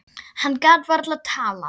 Hann gat varla talað.